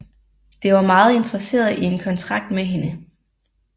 Det var meget interesseret i en kontrakt med hende